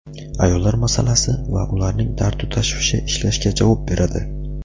ayollar masalasi va ularning dardu-tashvishi ishlashga javob beradi.